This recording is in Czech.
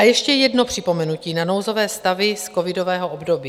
A ještě jedno připomenutí na nouzové stavy z covidového období.